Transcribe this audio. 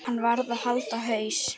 Hann varð að halda haus.